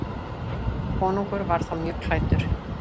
Konungur var þá mjög klæddur.